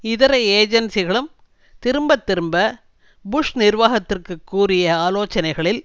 இதர ஏஜென்சிகளும் திரும்ப திரும்ப புஷ் நிர்வாகத்திற்கு கூறிய ஆலோசனைகளில்